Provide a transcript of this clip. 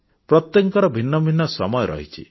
ପ୍ରତ୍ୟେକଙ୍କର ଭିନ୍ନ ଭିନ୍ନ ସମୟ ରହିଛି